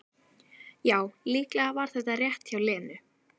Já, líklega var það rétt hjá Lenu.